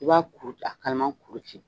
I b'a kuru ta, kalama kuru ci